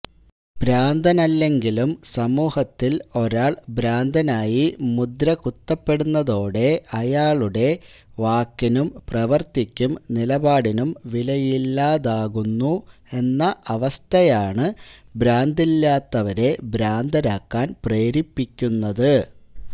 ഭ്രാന്തനല്ലെങ്കിലും സമൂഹത്തില് ഒരാള് ഭ്രാന്തനായി മുദ്രകുത്തപ്പെടുന്നതോടെ അയാളുടെ വാക്കിനും പ്രവര്ത്തിക്കും നിലപാടിനും വിലയില്ലാതാകുന്നു എന്ന അവസ്ഥയാണ് ഭ്രാന്തില്ലാത്തവരെ ഭ്രാന്തരാക്കാന് പ്രേരിപ്പിക്കുന്നത്